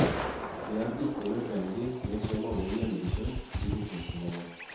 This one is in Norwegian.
Det er ikke nødvendig med så mange hjemmebesøk i distriktet lenger.